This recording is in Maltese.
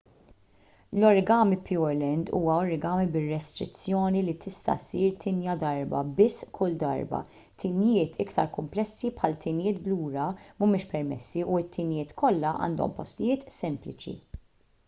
l-origami pureland huwa origami bir-restrizzjoni li tista' ssir tinja darba biss kull darba tinjiet iktar kumplessi bħal tinjiet b'lura mhumiex permessi u t-tinjiet kollha għandhom postijiet sempliċi